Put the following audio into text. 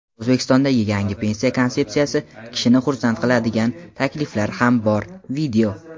O‘zbekistondagi yangi pensiya konsepsiyasida kishini xursand qiladigan takliflar ham bor.